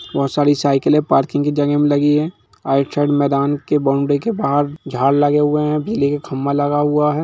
बहुत सारी साइकिलें पार्किंग की जगह में लगी है राइट साइड मैदान के बाउंड्री के बाहर झाड़ लगे हुए है बिजली का खंभा लगा हुआ है।